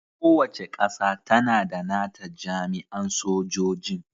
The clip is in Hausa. Kowace ƙasa tAna da nata jami'an sojojin